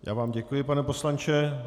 Já vám děkuji, pane poslanče.